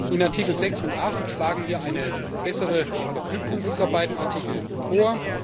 In Artikel 6 und 8 schlagen wir eine bessere Verknüpfung dieser beiden Artikel vor.